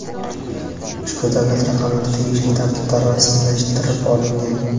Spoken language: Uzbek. ushbu davlat raqamlari tegishli tartibda rasmiylashtirib olingan.